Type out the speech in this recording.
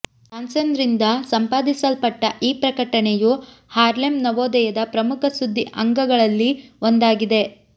ಜಾನ್ಸನ್ರಿಂದ ಸಂಪಾದಿಸಲ್ಪಟ್ಟ ಈ ಪ್ರಕಟಣೆಯು ಹಾರ್ಲೆಮ್ ನವೋದಯದ ಪ್ರಮುಖ ಸುದ್ದಿ ಅಂಗಗಳಲ್ಲಿ ಒಂದಾಗಿದೆ